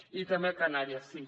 i també a canàries sí